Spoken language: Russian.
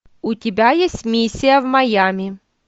у тебя есть миссия в майами